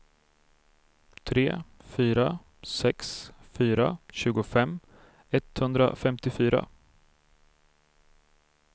tre fyra sex fyra tjugofem etthundrafemtiofyra